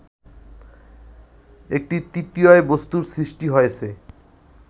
একটি তৃতীয় বস্তুর সৃষ্টি হয়েছে